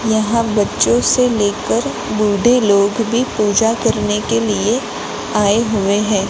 यहां बच्चो से लेकर बूढ़े लोग भी पूजा करने के लिए आए हुए हैं।